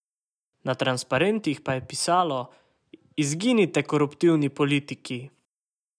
Na transparentih pa je pisalo: "Izginite koruptivni politiki.